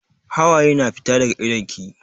Hawaye na fita daga idon ki.